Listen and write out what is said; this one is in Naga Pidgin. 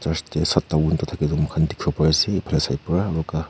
thake toh moikhan dikhi bo pare ephane side para aro ka--